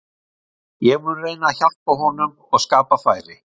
Ég mun reyna að hjálpa honum og skapa færi.